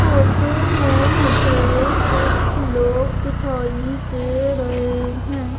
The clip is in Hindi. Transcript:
फोटो में मुझे कुछ लोग दिखाई दे रहे हैं।